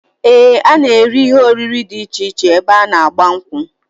Ee, a na-eri ihe oriri dị iche iche ebe a n'agba nkwu